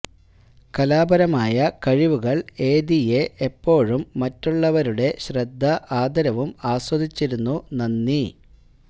കലാപരമായ കഴിവുകൾ എദിഎ എപ്പോഴും മറ്റുള്ളവരുടെ ശ്രദ്ധ ആദരവും ആസ്വദിച്ചിരുന്നു നന്ദി